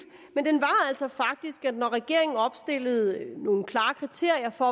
når regeringen opstillede nogle klare kriterier for